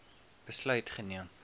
besluit geneem